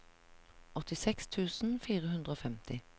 åttiseks tusen fire hundre og femti